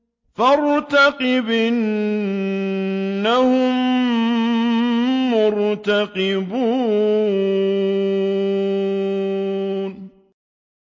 فَارْتَقِبْ إِنَّهُم مُّرْتَقِبُونَ